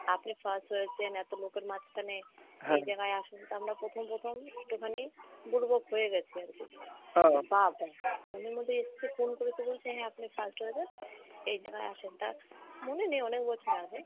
আপনি first হয়েছেন এত লোকের মাঝখানে এই জাগায় আসুন তা আমরা প্রথম প্রথম একটুখানি দুর্বল হয়ে গেছি আরকি phone এর মধ্যে এসছে phone করে তো বলছে হ্যাঁ আপনি first হয়েছেন এই জাগায় আসেন তা মনে নেই অনেক বছর আগে।